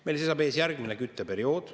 Meil seisab ees järgmine kütteperiood.